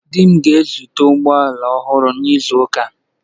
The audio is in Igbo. Di m ga-azụta ụgbọ ala ọhụrụ n'izu ụka a